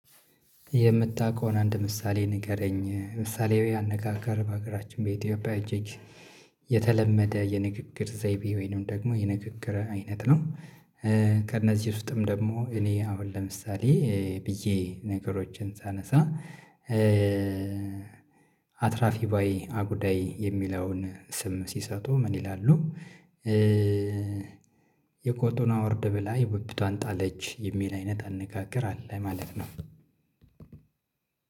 የምታውቀውን አንድ ምሳሌ ንገረኝ ምሳሌያዊ አነጋገር በሀገራችን በኢትዮጵያ እጅግ የተለመደ የንግግር ዘይቤ ወይንም ደግሞ የንግግር አይነት ነው። ከእነዚህ ውስጥም ደግሞ እኔ አሁን ለምሳሌ ብዬ ነገሮችን ሳነሳ አትራፊ ባይ አጉዳይ የሚለውን ስም ሲሰጡ ምን ይላሉ? የቆጡን አውርድ ብላ የብብቷን ጣለች የሚል አይነት አነጋገር አለ ማለት ነው።